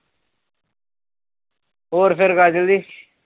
ਹੋਰ ਫਿਰ ਕਾਜਲ ਦੀ